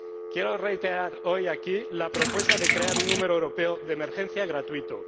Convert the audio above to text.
Quiero reiterar hoy aquí la propuesta de crear un número europeo de emergencia gratuito.